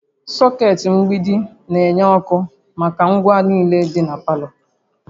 Socket mgbidi na-enye ọkụ maka ngwa niile dị na palọ